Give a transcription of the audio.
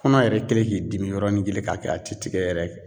Kɔnɔ yɛrɛ kɛlen k'i dimi yɔrɔnin kelen ka kɛ a ti tigɛ yɛrɛ